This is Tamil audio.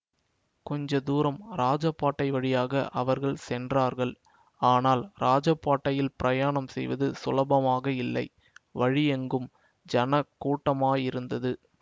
கொஞ்ச தூரம் இராஜபாட்டை வழியாக அவர்கள் சென்றார்கள் ஆனால் இராஜபாட்டையில் பிரயாணம் செய்வது சுலபமாக இல்லை வழியெங்கும் ஜனக் கூட்டமாயிருந்தது